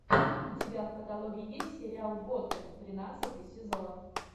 у тебя в каталоге есть сериал готэм тринадцатый сезон